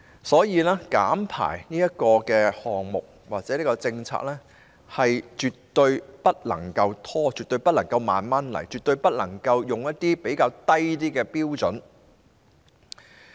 所以，減排項目或政策絕對不能拖延，絕對不能慢慢進行，絕對不能採用較低標準。